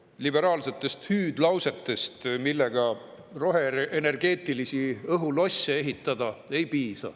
Liberaalsetest hüüdlausetest, millega roheenergeetilisi õhulosse ehitatakse, ei piisa.